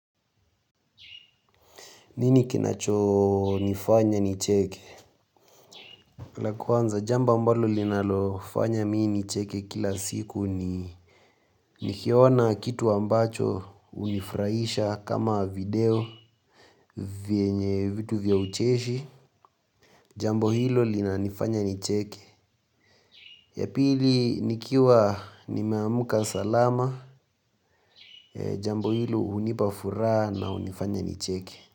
Nini kinachonifanya nicheke? La kwanza jamba ambalo linalofanya mimi nicheke kila siku ni nikiona kitu ambacho hunifurahisha kama video vyenye vitu vya ucheshi. Jambo hilo linanifanya nicheke. Ya pili nikiwa nimeamka salama jambo hilo hunipa furaha na hunifanya nicheke.